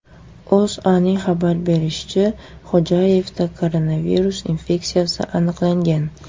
O‘zAning xabar berishicha , Xo‘jayevda koronavirus infeksiyasi aniqlangan.